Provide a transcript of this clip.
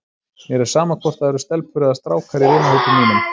Mér er sama hvort það eru stelpur eða strákar í vinahópi mínum.